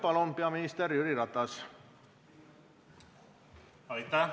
Palun, peaminister Jüri Ratas!